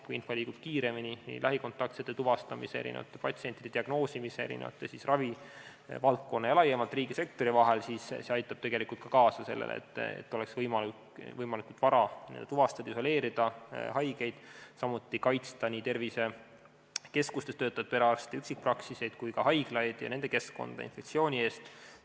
Kui info liigub kiiremini lähikontaktsete tuvastamisel, patsientide diagnoosimisel, kogu ravivaldkonna ja laiemalt riigisektori vahel, siis aitab see tegelikult kaasa ka sellele, et oleks võimalik võimalikult vara tuvastada ja isoleerida haigeid, samuti kaitsta nii tervisekeskustes töötavaid perearste, üksikpraksiseid kui ka haiglaid ja nende keskkonda infektsiooni eest.